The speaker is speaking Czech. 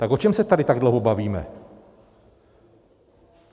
Tak o čem se tady tak dlouho bavíme?